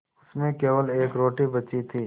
उसमें केवल एक रोटी बची थी